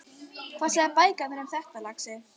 Hvað segja bækurnar þínar um það, lagsi?